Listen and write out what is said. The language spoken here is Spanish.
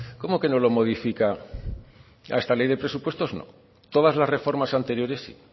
cómo que no lo modifica esta ley de presupuestos no todas las reformas anteriores sí